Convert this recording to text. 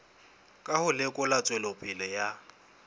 ka ho lekola tswelopele ya